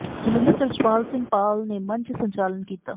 ਜਲੰਧਰ ਤੋਂ ਰਛਪਾਲ ਸਿੰਘ ਪਾਲ ਨੇ ਮੰਚ ਸੰਚਾਲਨ ਕੀਤਾ